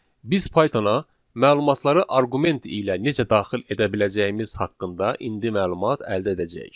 Biz Python-a məlumatları arqument ilə necə daxil edə biləcəyimiz haqqında indi məlumat əldə edəcəyik.